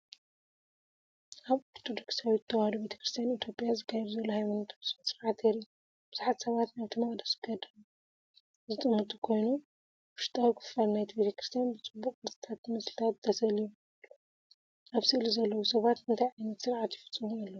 ኣብ ኦርቶዶክሳዊት ተዋህዶ ቤተክርስትያን ኢትዮጵያ ዝካየድ ዘሎ ሃይማኖታዊ ስነ-ስርዓት የርኢ። ብዙሓት ሰባት ናብቲ መቕደስ ገጾም ዝጥምቱ ኮይኖም፡ ውሽጣዊ ክፋል ናይቲ ቤተክርስትያን ብጽቡቕ ቅርጽታትን ምስልታትን ተሰሊሙ ኣሎ። ኣብ ስእሊ ዘለዉ ሰባት እንታይ ዓይነት ስርዓት ይፍጽሙ ኣለዉ?